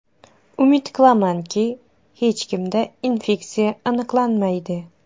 Umid qilamanki, hech kimda infeksiya aniqlanmaydi.